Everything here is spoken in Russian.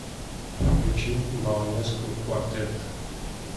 включи баланеску квартет